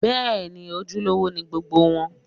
Bẹ́ẹ̀ni, ojúlówó ni gbogbo wọn